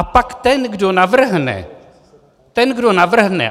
A pak ten, kdo navrhne - ten, kdo navrhne.